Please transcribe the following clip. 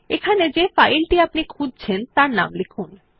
এখানে যে ফাইল টি আপনি খুঁজছেন তার নাম লিখুন